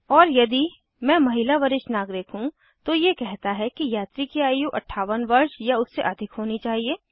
और यदि मैं महिला वरिष्ठ नागरिक हूँ तो ये कहता है यात्री की आयु 58 वर्ष या उससे अधिक होनी चाहिए